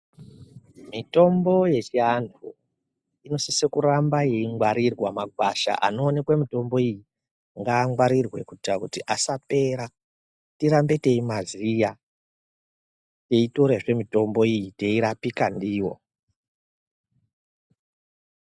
Mitombo yechianhu inosise kuramba yeingwarirwa, magwasha anoonekwe mitombo iyi ngaangwarirwe kuita kuti asapera tirambe teimaziya teitorazve mitombo iyi teirapika ndiyo.